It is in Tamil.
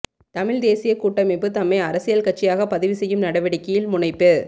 தமிழ்த் தேசியக் கூட்டமைப்பு தம்மை அரசியல் கட்சியாக பதிவுசெய்யும் நடவடிக்கையில் முனைப்பு